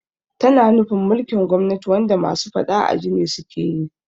Tana nufin mulkin gwamnati wanda masu faɗa aji ne sukeyi